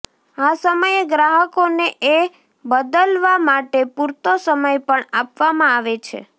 આ સમયે ગ્રાહકોને એ બદલવા માટે પુરતો સમય પણ આપવામાં આવે છે